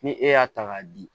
Ni e y'a ta k'a di